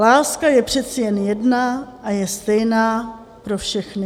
Láska je přece jen jedna a je stejná pro všechny.